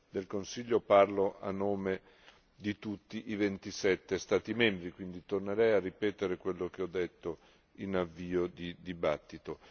del Consiglio parlo a nome di tutti i 27 Stati membri, quindi tornerei a ripetere quello che ho detto in avvio di dibattito.